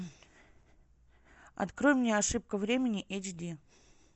открой мне ошибка времени эйч ди